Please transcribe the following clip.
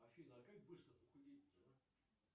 афина а как быстро похудеть то а